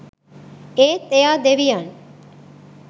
ඒත් එයා දෙවියන්